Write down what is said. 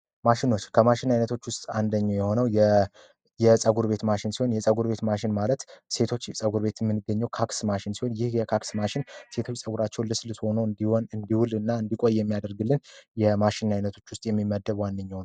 ማሽኖች ከማሽን አይነቶች ውስጥ አንደኛ የሆነው የፀጉር ቤት ማሽን ሲሆን የፀጉር ቤት ማሽን ማለት ሴቶች የጸጉር ቤት ምን ይገኛሉ። ሴቶች ጸጉር ቤት የምንገኘው የካክ ማሽን ሲሆን የሚያደርግልህ የማይነቱ ውስጥ የሚመደቡ ዋንኛው ነው።